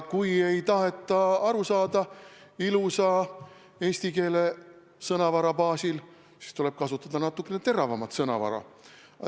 Kui ilusa eesti keele sõnavara baasil ei taheta aru saada, siis tuleb kasutada natukene teravamat sõnavara.